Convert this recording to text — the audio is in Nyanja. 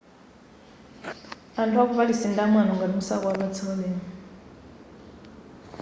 anthu aku paris ndi amwano ngati musakuwapatsa ulemu